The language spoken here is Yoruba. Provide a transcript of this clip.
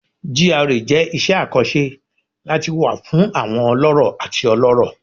GRA jẹ iṣẹ akanṣe lati wa fun awọn ọlọrọ ati ọlọrọ